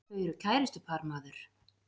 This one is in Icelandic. Þau eru kærustupar maður!